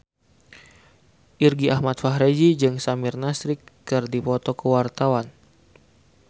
Irgi Ahmad Fahrezi jeung Samir Nasri keur dipoto ku wartawan